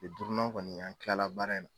Kilen duuru nan kɔni, an kilala baara in.